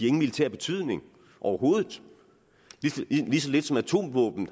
ingen militær betydning overhovedet lige så lidt som atomvåben